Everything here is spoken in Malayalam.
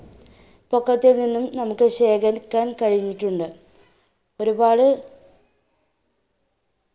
പൊക്കത്തിൽനിന്നും നമ്മുക്ക് ശേഖരിക്കാൻ കഴിഞ്ഞിട്ടുണ്ട്. ഒരുപാടു